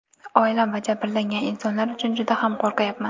Oilam va jabrlangan insonlar uchun juda ham qo‘rqayapman.